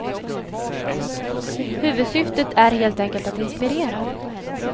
Huvudsyftet är helt enkelt att inspirera.